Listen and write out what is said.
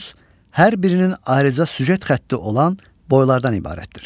Epos hər birinin ayrıca süjet xətti olan boylardan ibarətdir.